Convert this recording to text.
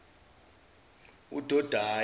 udodayi